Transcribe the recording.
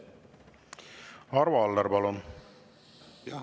Arvo Aller, palun!